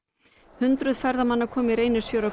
hundruð ferðamanna koma í Reynisfjöru á